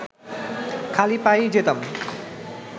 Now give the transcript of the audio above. খালি পায়েই যেতাম